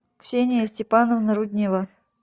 ксения степановна руднева